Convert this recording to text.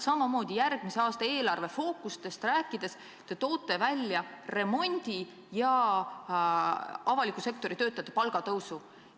Järgmise aasta eelarve fookustest rääkides te toote välja remondi ja avaliku sektori töötajate palgatõusu.